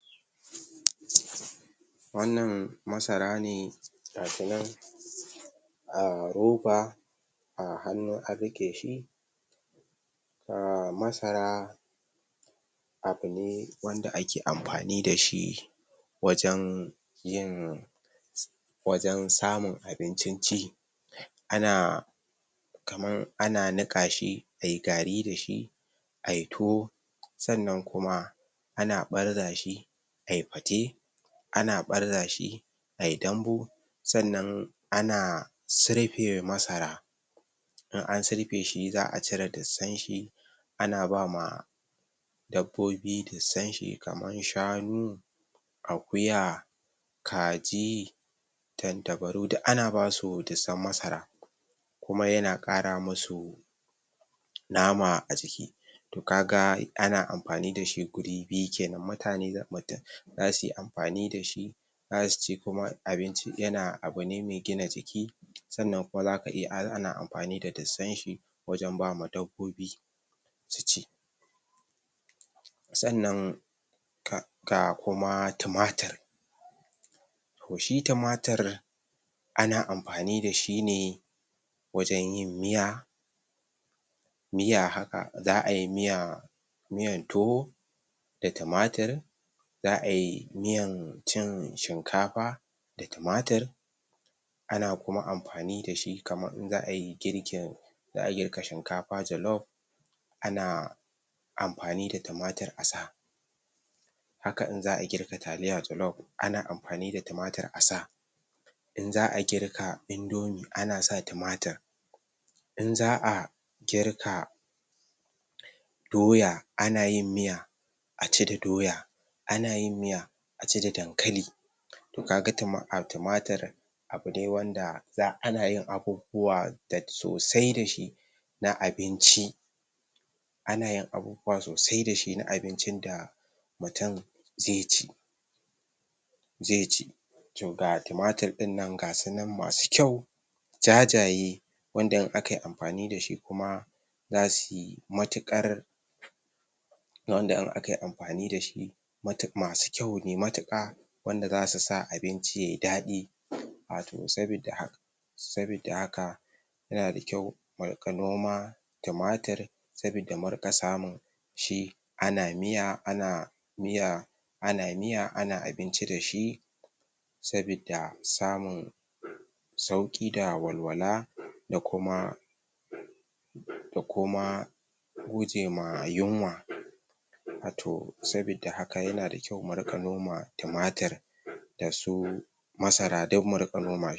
Wannan Masara ne gata nan a roba a hannu an riƙe shi Masara abune wanda ake amfani dashi wajan yin wajan samun abincin ci ana kamar ana niƙa shi ayi gari dashi ayi Tuwo sannan kuma ana ɓarza shi ayi Fate ana ɓarza shi ai Dambu sannan ana sirfe Masara in an sirfe shi, za'a cire dussan shi ana bama dabbobi dussan shi kama shanu Akuya Kaji Tattabaru duk ana bawasu dussan Masara kuma yan ƙara musu dama a jiki to kaga ana amfani dashi wuri biyu kenan, mutane za mutum za suyi amfani dashi za suci kuma abinci, yana, abune mai gina jiki sannan kuma zaka iya, ana amfan da dusan shi wajan bawa dabbobi su ci sannan ka ga kuma tumatur to shi tumatur ana amfani dashi ne wajan yin miya miya haka, za'ai miya miyar Tuwo da tumatur za'ai miyar cin shinkafa da tumatur ana kuma amfani dashi kamar in za'ayi girkin za'a girka shinkafa jalof ana amfani da tumatur asa haka in za'a girka Taliya jalof ana amfani da tumatur asa in za'a girka Indomi ana sa tumatur in za'a girka Doya ana yin miya aci da Doya ana yin miya aci da Dankali to kaga tuma a tumatur abu ne wanda za'a, ana yin abubuwa sosai dashi na abinci ana yin abubuwa sosai dashi na abincin da mutum zai ci zai ci to ga tumatur ɗin nan, gasunan masu kyau jajaye wanda in akai amfani dashi kuma zasu y matuƙari wanda in akai amfani dashi matuƙ masu kyau ne matuƙa wanda zasu sa abinci yayi daɗi wato sabidda haka sabidda haka yana da kyau mu riƙa noma Tumatur sabidda mu riƙa samun shi ana miya ana miya ana miya ana abinci shi sabidda samun sauƙi da walwala da kuma da kuma gucema yinwa a to, sabidda haka yana da kyau, mu riƙa noma Tumatur dasu Masara duk mu riƙa noma